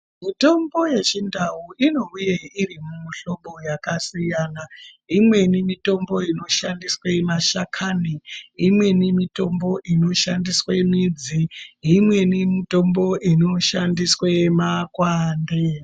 Mitombo ye chindau ino uye iri mu hlobo yaka siyana imweni mitombo inoshandiswe mashakani imweni mitombo ino shandiswe midzi imweni mitombo ino shandiswe makwande.